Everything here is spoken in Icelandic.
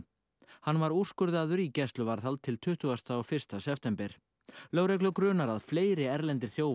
hann var úrskurðaður í gæsluvarðhald til tuttugasta og fyrsta september lögreglu grunar að fleiri erlendir þjófar